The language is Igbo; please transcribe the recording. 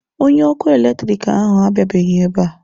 Onye ọkụ eletrik ahụ abịabeghị ebe a.